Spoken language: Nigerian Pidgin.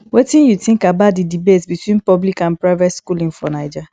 wetin you think about di debate between public and private schooling for naija